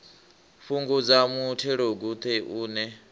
fhungudza muthelogu ṱe u ne